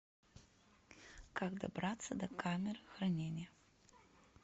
как добраться до камер хранения